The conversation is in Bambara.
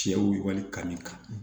Cɛw wale kan min kan